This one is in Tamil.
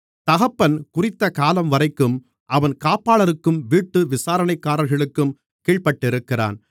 தகப்பன் குறித்த காலம்வரைக்கும் அவன் காப்பாளருக்கும் வீட்டு விசாரணைக்காரர்களுக்கும் கீழ்ப்பட்டிருக்கிறான்